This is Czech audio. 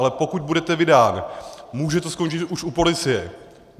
Ale pokud budete vydán, může to skončit už u policie.